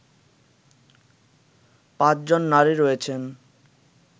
পাঁচজন নারী রয়েছেন